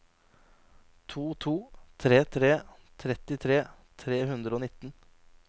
to to tre tre trettitre tre hundre og nitten